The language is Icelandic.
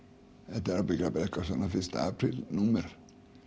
þetta er ábyggilega bara eitthvert svona fyrsta apríl númer